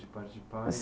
de parte de pai?